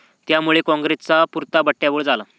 त्यामुळे कॉंग्रेसचा पुरता बट्ट्याबोळ झाला.